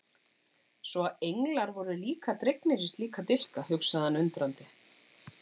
Svo að englar voru líka dregnir í slíka dilka, hugsaði hann undrandi.